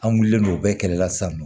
An wulilen no o bɛɛ kɛlɛ la sisan nɔ